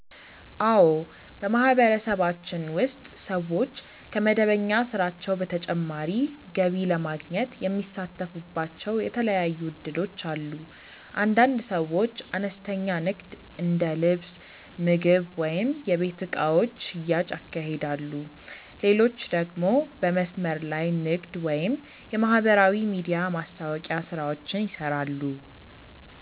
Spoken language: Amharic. አዎ፣ በማህበረሰባችን ውስጥ ሰዎች ከመደበኛ ስራቸው በተጨማሪ ገቢ ለማግኘት የሚሳተፉባቸው የተለያዩ እድሎች አሉ። አንዳንድ ሰዎች አነስተኛ ንግድ እንደ ልብስ፣ ምግብ ወይም የቤት እቃዎች ሽያጭ ያካሂዳሉ፣ ሌሎች ደግሞ በመስመር ላይ ንግድ ወይም የማህበራዊ ሚዲያ ማስታወቂያ ስራዎችን ይሰራሉ።